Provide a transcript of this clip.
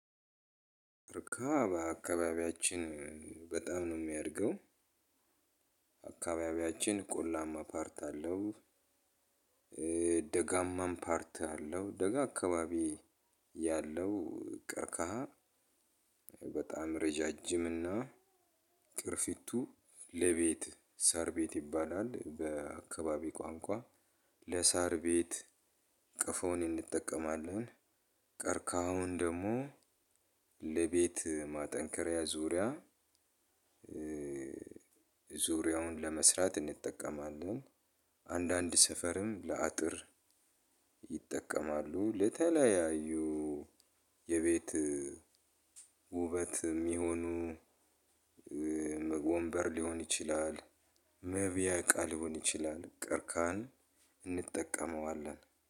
ቀርቀሃ በአካባቢያችን በጣም ነው የሚያድገው። አካባቢያችን ቆላማ ፓርት አለው። ደጋማም ፓርት አለው ደጋ አካባቢ ያለው ቀርቀሃ። በጣም ረዣዥምና ቅርፊቱ ለቤት ሳርቤት ይባላል በአካባቢ ቋንቋ ለሳርቤት ቤት ቀፎውን እንጠቀማለን። ቀርቃሀውን ደግሞ ለቤት ማጠንከሪያ ዙሪያ ዙሪያውን ለመስራት እንጠቀማለን። አንዳንድ ሰፈርም ለአጥር ይጠቀማሉ። ለተለያዩ የቤት ውበትም ይሁኑ። ወንበር ሊሆን ይችላል መብያ እቃ ሊህን ይችላል። ቀርቀሀን እንጠቀማለን።